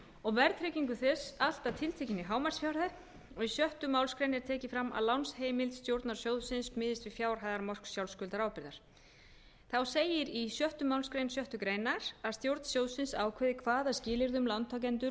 og verðtryggingu þess allt að tiltekinni hámarksfjárhæð og í sjöttu málsgrein er tekið fram að lánsheimild stjórnar sjóðsins miðist við fjárhæðarmörk sjálfskuldarábyrgðar þá segir í sjöunda málsgrein sjöttu grein að stjórn sjóðsins ákveði hvaða skilyrðum lántakendur